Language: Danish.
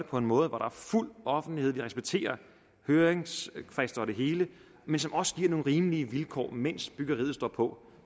på en måde hvor der er fuld offentlighed hvor vi respekterer høringsfrister og det hele men som også giver nogle rimelige vilkår mens byggeriet står på